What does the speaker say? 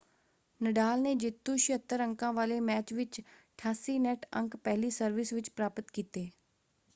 ਨਡਾਲ ਨੇ ਜੇਤੂ 76 ਅੰਕਾਂ ਵਾਲੇ ਮੈਚ ਵਿੱਚ 88 ਨੈੱਟ ਅੰਕ ਪਹਿਲੀ ਸਰਵਿਸ ਵਿੱਚ ਪ੍ਰਾਪਤ ਕੀਤੇ।